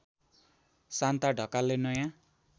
शान्ता ढकालले नयाँ